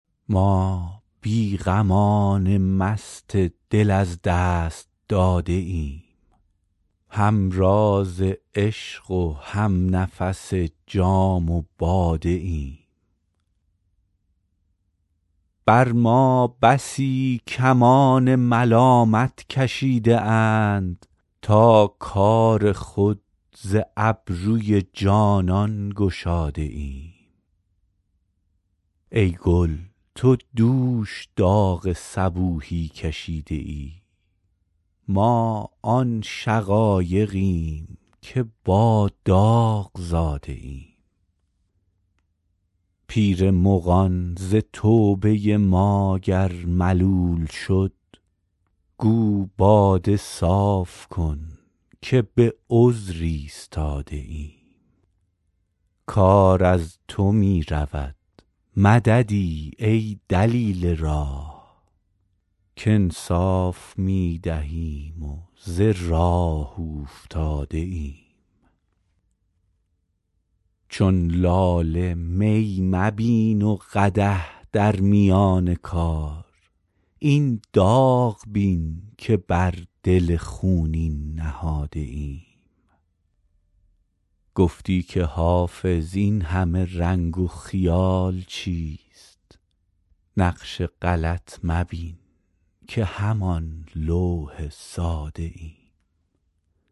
ما بی غمان مست دل از دست داده ایم هم راز عشق و هم نفس جام باده ایم بر ما بسی کمان ملامت کشیده اند تا کار خود ز ابروی جانان گشاده ایم ای گل تو دوش داغ صبوحی کشیده ای ما آن شقایقیم که با داغ زاده ایم پیر مغان ز توبه ما گر ملول شد گو باده صاف کن که به عذر ایستاده ایم کار از تو می رود مددی ای دلیل راه کانصاف می دهیم و ز راه اوفتاده ایم چون لاله می مبین و قدح در میان کار این داغ بین که بر دل خونین نهاده ایم گفتی که حافظ این همه رنگ و خیال چیست نقش غلط مبین که همان لوح ساده ایم